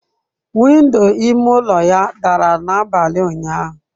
Window ime ụlọ ya dara n'abalị ụnyaahụ.